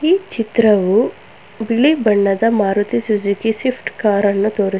ಈ ಚಿತ್ರವು ಬಿಳಿ ಬಣ್ಣದ ಮಾರುತಿ ಸುಜುಕಿ ಶಿಫ್ಟ್ ಕಾರ್ ನ್ನು ತೋರಿಸು--